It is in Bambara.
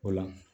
O la